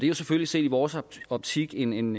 jo selvfølgelig set i vores optik en en